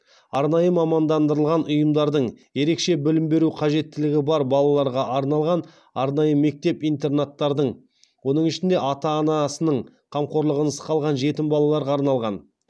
арнайы мамандандырылған ұйымдардың ерекше білім беру қажеттілігі бар балаларға арналған арнайы мектеп интернаттардың